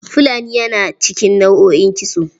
Fulani yana cikin nau'o'in kitso.